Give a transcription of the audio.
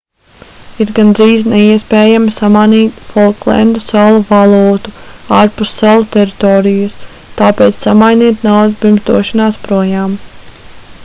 ir gandrīz neiespējami samanīt folklendu salu valūtu ārpus salu teritorijas tāpēc samainiet naudu pirms došanās projām